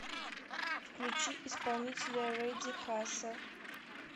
включи исполнителя реди хаса